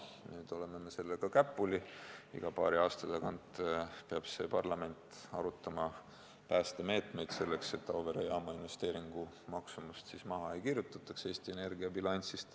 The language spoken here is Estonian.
Nüüd oleme sellega käpuli, iga paari aasta tagant peab parlament arutama päästemeetmeid, et Auvere jaama investeeringu maksumust Eesti Energia bilansist maha ei kirjutataks.